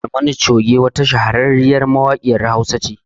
Barmani Choge wata shahararriyar mawaƙiyar Hausa ce